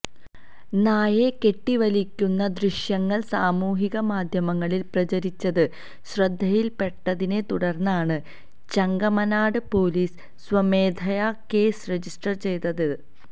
നായയെ കെട്ടിവലിക്കുന്ന ദൃശ്യങ്ങള് സാമൂഹിക മാധ്യമങ്ങളില് പ്രചരിച്ചത് ശ്രദ്ധയിൽപ്പെട്ടതിനെത്തുടർന്നാണ് ചെങ്ങമനാട് പോലീസ് സ്വമേധയാ കേസ് രജിസ്റ്റര് ചെയ്തതത്